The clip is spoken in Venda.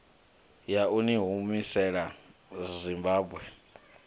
ya u ni humisela zimbabwe